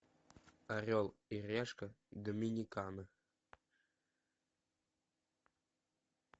орел и решка доминикана